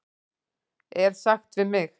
er sagt við mig?